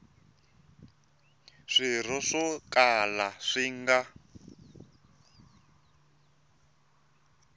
swirho swo kala swi nga